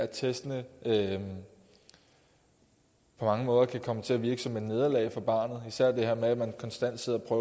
testene kan på mange måder komme til at virke som et nederlag for barnet især det her med at man konstant sidder og